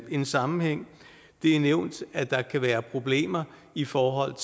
en sammenhæng det er nævnt at der kan være problemer i forhold